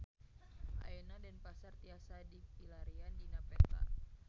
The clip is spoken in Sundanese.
Ayeuna Denpasar tiasa dipilarian dina peta